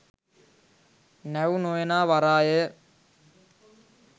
නැව් නො එනා වරාය ය